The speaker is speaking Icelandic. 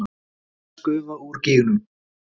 Nánast aðeins gufa úr gígnum